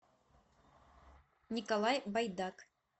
николай байдак